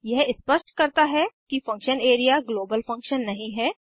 यह स्पष्ट करता है कि फंक्शन एरिया ग्लोबल फंक्शन नहीं है